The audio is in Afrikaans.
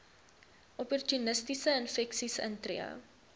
opportunistiese infeksies intree